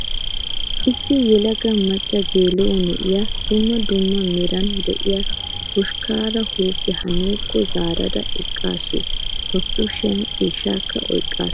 Issi yelaga macca gela'o na'iyaa dumma dumma meraara diya ba hoshkkaara huuphiyaa haa nuukko zaarada eqqaasu. Ba kushiyan ciishshaakka oyikkaasu.